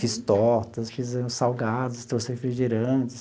Fiz tortas, fiz uns salgados, trouxe refrigerantes.